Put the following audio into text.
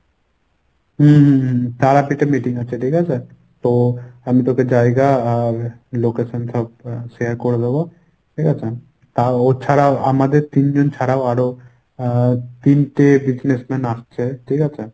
হুম হুম হুম হুম meeting আছে ঠিকাছে। তো আমি তোকে জায়গা আর location টা share করে দেবো। ঠিকাছে? তা ও ছাড়াও আমাদের তিনজন ছাড়াও আরো আহ তিনটে business man আসছে। ঠিকাছে?